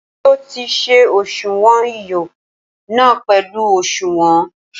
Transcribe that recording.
Ṣé o ti se òṣuwọn iyọ na pẹlu òṣuwọn?